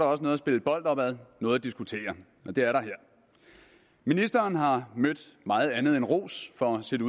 også noget at spille bold op ad noget at diskutere og det er der her ministeren har mødt meget andet end ros for sit